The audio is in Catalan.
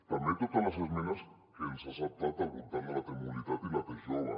també totes les esmenes que ens ha acceptat al voltant de la t mobilitat i la t jove